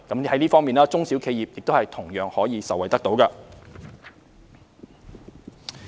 在這方面，中小企同樣可以受惠。